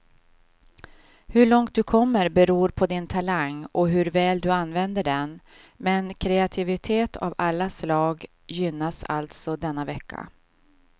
Hur långt du kommer beror på din talang och hur väl du använder den, men kreativitet av alla slag gynnas alltså denna vecka.